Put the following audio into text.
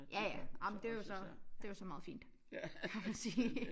Ja ja ej men det jo så det jo så meget fint kan man sige